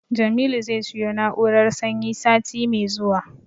Jamilu zai siyo na'urar sanyi sati mai zuwa.